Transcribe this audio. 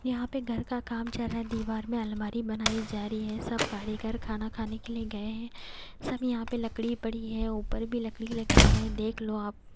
यहां पे घर का काम चल रहा है दीवार में अलमारी बनाई जा रही है सब कारीगर खाना खाने के लिए गए हैं सब यहां पे लकड़ी पड़ी है ऊपर भी लकड़ी लगी है देख लो आप--